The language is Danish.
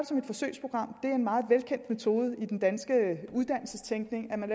som et forsøgsprogram det er en meget velkendt metode i den danske uddannelsestænkning at man